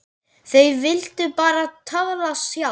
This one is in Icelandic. Þau vildu bara tala sjálf.